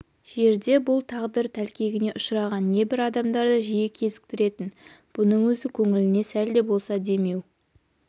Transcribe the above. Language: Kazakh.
жерде бұл тағдыр тәлкегіне ұшыраған небір адамдарды жиі кезіктіретін бұның өзі көңіліне сәлде болса демеу